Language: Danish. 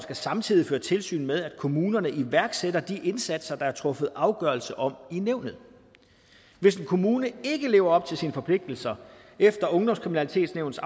samtidig føre tilsyn med at kommunerne iværksætter de indsatser der er truffet afgørelse om i nævnet hvis en kommune ikke lever op til sine forpligtelser efter ungdomskriminalitetsnævnets